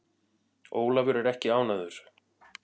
Ólafur er ekki ánægður.